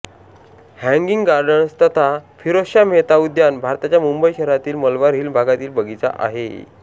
hanging Gardens तथा फिरोझशाह मेहता उद्यान भारताच्या मुंबई शहरातील मलबार हिल भागातील बगीचा आहे